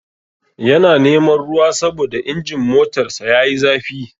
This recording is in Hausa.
Yana neman ruwa saboda injin motarsa yayi zafi.